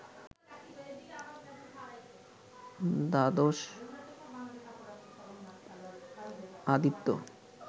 দ্বাদশ আদিত্য